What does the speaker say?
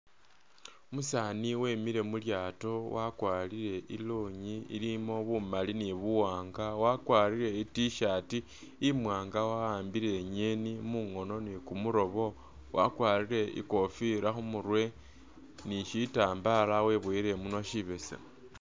Umusani wemile mulyato, wakwarire ilonyi ilimo bumali nibuwanga, wakwarire i T'shirt imwanga wa'ambile inyeni mungono ni kumulobo, wakwarire ikofila khumurwe ni shitambala webowile imunwa shibesemu.